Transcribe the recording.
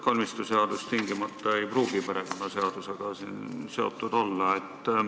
Kalmistuseadus ei pruugi tingimata perekonnaseisutoimingute seadusega seotud olla.